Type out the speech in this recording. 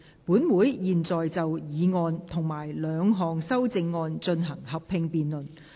本會現在就議案及兩項修正案進行合併辯論。